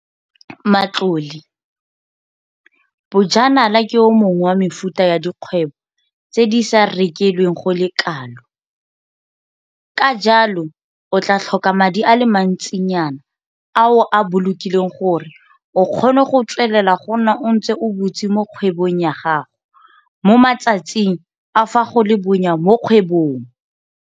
Matlole - Bojanala ke o mongwe wa mefuta ya dikgwebo tse di sa rekelweng go le kalo, ka jalo o tla tlhoka madi a le mantsi nyana a o a bolokileng gore o kgone go tswelela go nna o ntse o butse mo kgwebong ya gago mo matsatsing a fa go le bonya mo kgwebong.